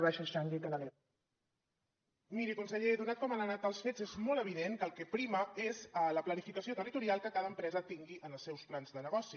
miri conseller donat com han anat els fets és molt evident que el que prima és la planificació territorial que cada empresa tingui en els seus plans de negoci